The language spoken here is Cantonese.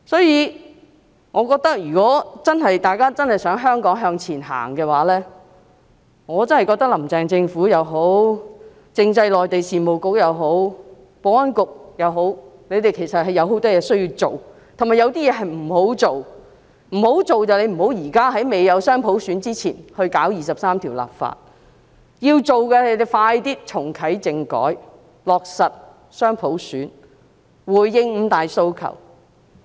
如果大家真的想香港向前行，我真的覺得，"林鄭"政府也好，政制及內地事務局也好，保安局也好，他們有很多工作需要做，但亦有些事是不應做的，不應在未有雙普選前進行《基本法》第二十三條立法，要做的是盡快重啟政改，落實雙普選，回應五大訴求。